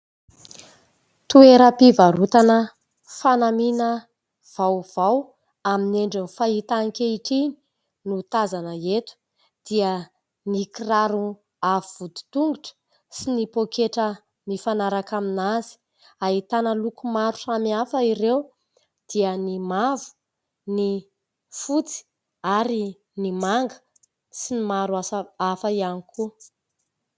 Toeram-pivarotana fanamiana vaovao amin'ny endriny fahita ankehitriny no tazana eto : dia ny kiraro avo vodin-tongotra sy ny pôketra mifanaraka aminazy. Ahitana loko maro samihafa ireo : dia ny mavo, ny fotsy ary ny manga sy ny maro hafa ihany koa...